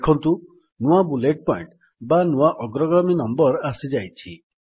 ଦେଖନ୍ତୁ ନୂଆ bullet point ବା ନୂଆ ଅଗ୍ରଗାମୀ ନମ୍ୱର ଆସିଯାଇଛି